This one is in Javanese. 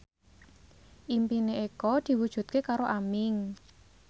impine Eko diwujudke karo Aming